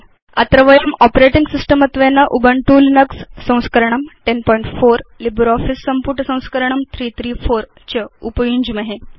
अत्र वयं operating system त्वेन उबुन्तु लिनक्स संस्करणं 1004 लिब्रियोफिस सम्पुट संस्करणं 334 च उपयुञ्ज्महे